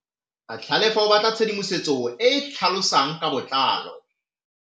Tlhalefô o batla tshedimosetsô e e tlhalosang ka botlalô.